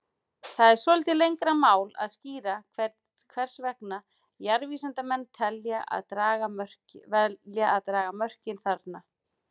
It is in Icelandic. Það er svolítið lengra mál að skýra hvers vegna jarðvísindamenn velja að draga mörkin þarna.